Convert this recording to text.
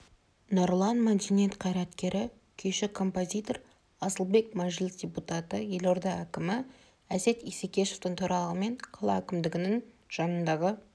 нұрлан мәдениет қайраткері күйші композитор асылбек мәжіліс депутаты елорда әкімі әсет исекешевтің төрағалығымен қала әкімдігінің жанындағы